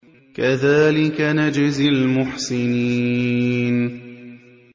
كَذَٰلِكَ نَجْزِي الْمُحْسِنِينَ